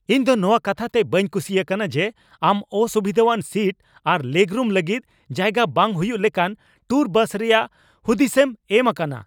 ᱤᱧ ᱫᱚ ᱱᱚᱣᱟ ᱠᱟᱛᱷᱟ ᱛᱮ ᱵᱟᱹᱧ ᱠᱩᱥᱤ ᱟᱠᱟᱱᱟ ᱡᱮ ᱟᱢ ᱚᱥᱩᱵᱤᱫᱟᱣᱟᱱ ᱥᱤᱴ ᱟᱨ ᱞᱮᱜᱽᱨᱩᱢ ᱞᱟᱹᱜᱤᱫᱽ ᱡᱟᱭᱜᱟ ᱵᱟᱝ ᱦᱩᱭᱩᱜ ᱞᱮᱠᱟᱱ ᱴᱩᱨ ᱵᱟᱥ ᱨᱮᱭᱟᱜ ᱦᱩᱫᱤᱥᱮᱢ ᱮᱢ ᱟᱠᱟᱱᱟ ᱾